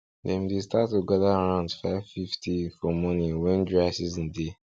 dem dey start to gather around five fifty for morning when dry season dey